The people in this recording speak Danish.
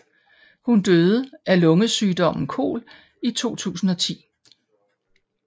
Hun døde af lungesygdommen KOL i 2010